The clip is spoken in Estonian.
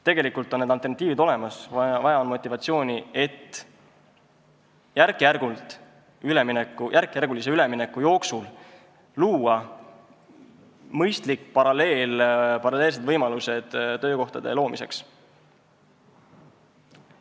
Tegelikult on alternatiivid olemas, vaja on motivatsiooni, et järkjärgulise ülemineku jooksul luua mõistlikud paralleelsed võimalused töökohtade loomiseks.